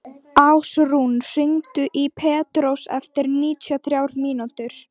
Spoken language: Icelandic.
Ásrún, hringdu í Pétrós eftir níutíu og þrjár mínútur.